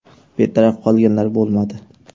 Betaraf qolganlar bo‘lmadi.